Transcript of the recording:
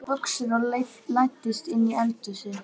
Hann klæddi sig í buxur og læddist inn í eldhúsið.